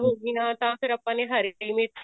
ਹੋ ਗਈਆਂ ਤਾਂ ਆਪਾਂ ਨੇ ਹਰੀ ਮਿਰਚ